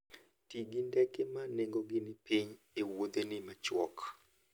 Ti gi ndege ma nengogi ni piny e wuodheni machuok.